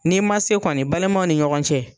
N'i ma se kɔni balimaw ni ɲɔgɔn cɛ.